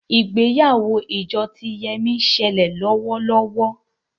ìgbéyàwó ìjọ tí Yemi ń ṣẹlẹ lówó lówó